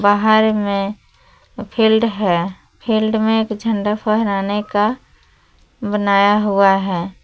बाहर में फील्ड है फील्ड में एक झंडा फहराने का बनाया हुआ है।